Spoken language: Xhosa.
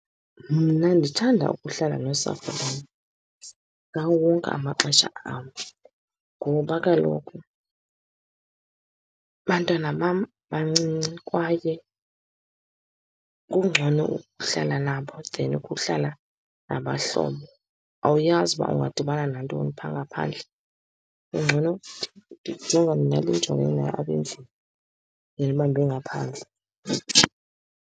Mna ndithanda ukuhlala nosapho lwam ngawo wonke amaxesha am ngoba kaloku abantwana bam bancinci, kwaye kungcono ukuhlala nabo then ukuhlala nabahlobo. Awuyazi uba ungadibani nantoni pha ngaphandle. Kungcono ndijonge nale ndijongene nayo apha endlini then uba ndibe ngaphandle.